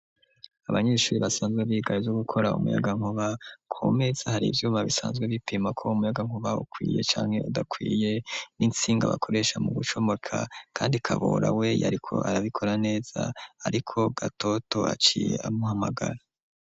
Abanyeshuri basanzwe bigaye zo gukora umuyaga nkuba komeza hari ivyuma bisanzwe bipima ko umuyaga nkuba ukwiye cane udakwiye n'intsinga bakoresha mu gucomoka kandi kabora we yariko arabikora neza ariko gatoto aciye amuhamagara.